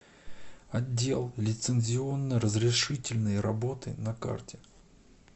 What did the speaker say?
отдел лицензионно разрешительной работы на карте